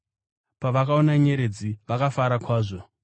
Pavakaona nyeredzi, vakafara kwazvo.